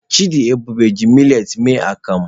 Chidiebube ji miletị mee akamu.